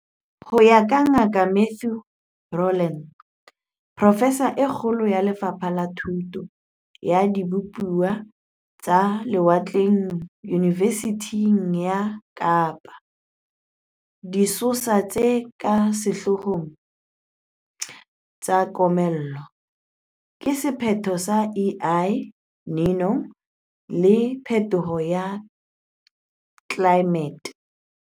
Ho ya ka Ngaka Mathieu Roualt, profesa e kgolo ya Le fapha la Thuto ya Dibupuwa tsa Lewatleng Yunivesithing ya Kapa, disosa tse ka sehloo hong tsa komello ke sephetho sa El Niño le phethoho ya tlelaemete.